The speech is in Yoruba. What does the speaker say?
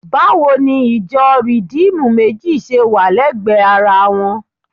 Báwo ni ìjọ Rìdíìmù méjì ṣe wà lẹ́gbẹ̀ẹ́ ara wọn?